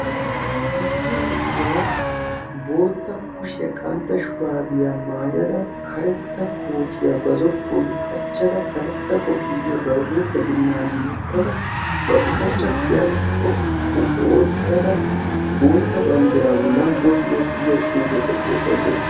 Issi na'iya bootta kushiya qantta shurabbiya maayadda ba kushiya qanttadda bootta banddira bolla boos yoos giya xuufiya oyqqa uttaas.